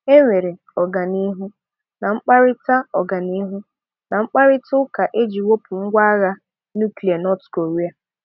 Enwere ọganihu na mkparịta ọganihu na mkparịta ụka iji wepụ ngwa agha nuklia North Korea.